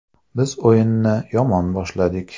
Biz o‘yinni yomon boshladik.